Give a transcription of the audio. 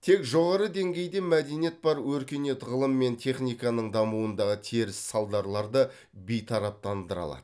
тек жоғары деңгейде мәдениет бар өркениет ғылым мен техниканың дамуындағы теріс салдарларды бейтараптандыра алады